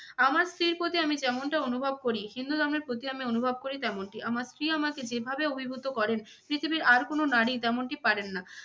আমার স্ত্রীর প্রতি আমি যেমনটা অনুভব করি. হিন্দু ধর্মের প্রতিও আমি অনুভব করি তেমনটি। আমরা স্ত্রী আমাকে যেভাবে অভিভূত করেন, পৃথিবীর আর কোন নারী তেমনটি পারেন না।